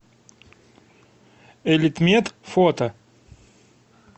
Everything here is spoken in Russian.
элитмед фото